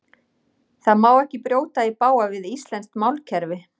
Það má ekki brjóta í bága við íslenskt málkerfi.